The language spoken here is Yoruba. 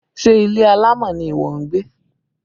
Ṣé ilé alámọ̀ ni ìwọ ń gbé?